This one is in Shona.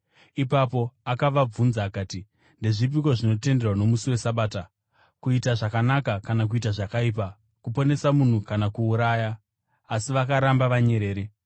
Ipapo Jesu akavabvunza akati, “Ndezvipiko zvinotenderwa nomusi weSabata: kuita zvakanaka kana kuita zvakaipa, kuponesa munhu kana kuuraya?” Asi vakaramba vanyerere.